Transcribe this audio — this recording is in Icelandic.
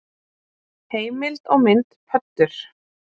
Heimild og mynd Pöddur.